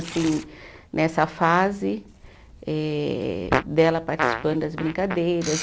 Assim, nessa fase eh dela participando das brincadeiras.